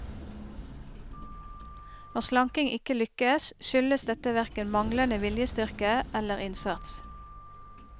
Når slanking ikke lykkes, skyldes dette hverken manglende viljestyrke eller innsats.